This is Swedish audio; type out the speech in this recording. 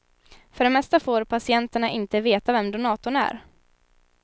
För det mesta får patienterna inte veta vem donatorn är.